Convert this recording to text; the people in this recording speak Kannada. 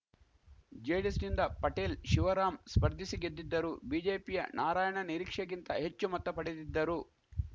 ಜೆಡಿಎಸ್‌ನಿಂದ ಪಟೇಲ್‌ ಶಿವರಾಂ ಸ್ಪರ್ಧಿಸಿ ಗೆದ್ದಿದ್ದರು ಬಿಜೆಪಿಯ ನಾರಾಯಣ ನಿರೀಕ್ಷೆಗಿಂತ ಹೆಚ್ಚು ಮತ ಪಡೆದಿದ್ದರು